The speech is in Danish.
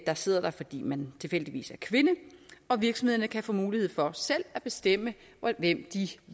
der sidder der fordi man tilfældigvis er kvinde og at virksomhederne kan få mulighed for selv at bestemme hvem de